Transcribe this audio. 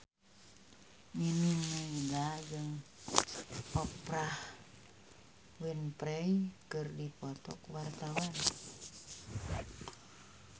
Nining Meida jeung Oprah Winfrey keur dipoto ku wartawan